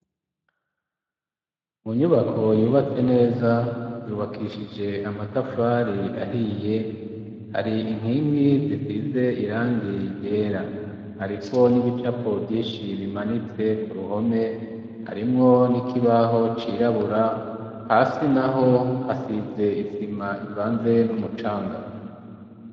Munyubako yubatse neza yubakishije amatafari ahiye hari inkingi zisize irangiryera, ariko n'ibicapo vyinshi bimanitse ku ruhome harimwo n'ikibaho cirabura hasi na ho hasize isi zima ivanzee n'umucanga.